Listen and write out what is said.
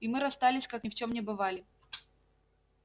и мы расстались как ни в чём не бывали